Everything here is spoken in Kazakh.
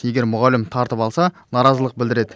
егер мұғалім тартып алса наразылық білдіреді